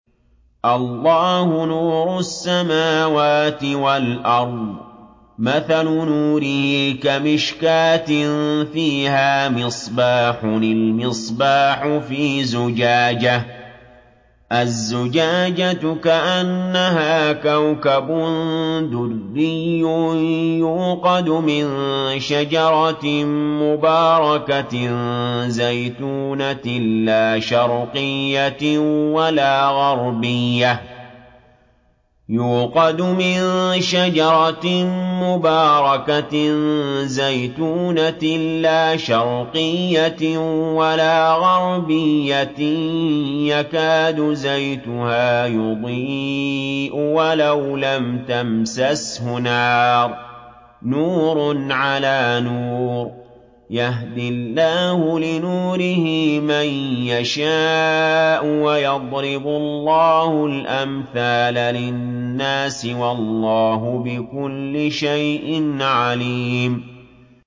۞ اللَّهُ نُورُ السَّمَاوَاتِ وَالْأَرْضِ ۚ مَثَلُ نُورِهِ كَمِشْكَاةٍ فِيهَا مِصْبَاحٌ ۖ الْمِصْبَاحُ فِي زُجَاجَةٍ ۖ الزُّجَاجَةُ كَأَنَّهَا كَوْكَبٌ دُرِّيٌّ يُوقَدُ مِن شَجَرَةٍ مُّبَارَكَةٍ زَيْتُونَةٍ لَّا شَرْقِيَّةٍ وَلَا غَرْبِيَّةٍ يَكَادُ زَيْتُهَا يُضِيءُ وَلَوْ لَمْ تَمْسَسْهُ نَارٌ ۚ نُّورٌ عَلَىٰ نُورٍ ۗ يَهْدِي اللَّهُ لِنُورِهِ مَن يَشَاءُ ۚ وَيَضْرِبُ اللَّهُ الْأَمْثَالَ لِلنَّاسِ ۗ وَاللَّهُ بِكُلِّ شَيْءٍ عَلِيمٌ